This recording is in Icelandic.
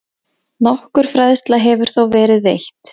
Nokkur fræðsla hefur þó verið veitt.